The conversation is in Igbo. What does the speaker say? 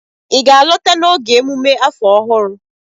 ị ga-alọta n'oge emume afọ ọhụrụ?